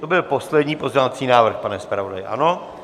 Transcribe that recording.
To byl poslední pozměňovací návrh, pane zpravodaji, ano?